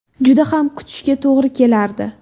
Juda ham ko‘p kutishga to‘g‘ri kelardi.